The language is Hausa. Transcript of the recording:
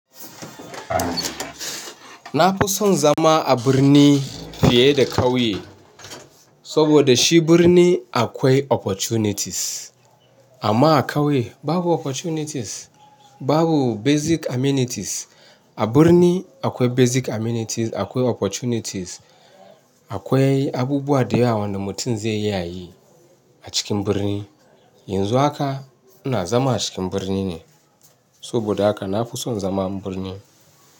Na fi son zama a birni fiye da ƙauye, saboda shi birni akwai opportunities. Amma a ƙauye babu opportunities, babu basic amenities. A birni akwai basic amenities, akwai opportunities, akwai abubuwa da yawa wanda mutum zai yi a yi a cikin birni. Yanzu haka ina zama a cikin birni ne, saboda haka na fi son zaman birni.